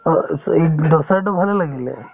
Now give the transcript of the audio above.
ইদলি, দোচাতো ভালে লাগিলে